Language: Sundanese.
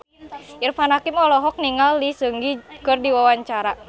Irfan Hakim olohok ningali Lee Seung Gi keur diwawancara